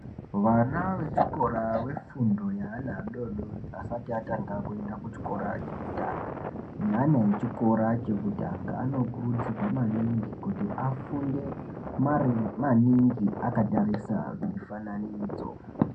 Vana vechikora vefundo yeana adoodori asati atanga kuenda kuchikora chekutanga neana echikora chekutanga, anokurudzirwa maningi kuti afunde maningi akatarisa mifananidzo.